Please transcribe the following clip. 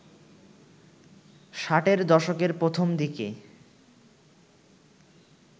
ষাটের দশকের প্রথম দিকে